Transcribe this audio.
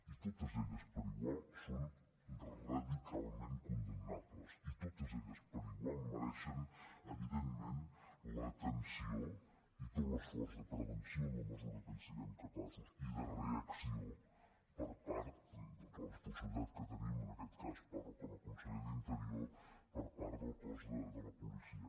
i totes elles per igual són radicalment condemnables i totes elles per igual mereixen evidentment l’atenció i tot l’esforç de prevenció en la mesura que en siguem capaços i de reacció per part de la responsabilitat que tenim en aquest cas parlo com a conseller d’interior per part del cos de la policia